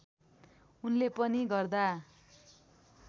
उनले पनि गदा